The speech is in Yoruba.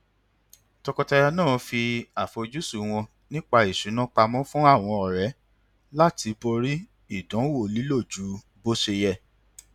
tọkọtaya náà fi àfojúsùn wọn nípa ìṣúná pamọ fún àwọn ọré láti borí àdánwò lílo ju bó ṣe yẹ